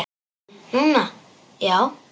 Núna, já.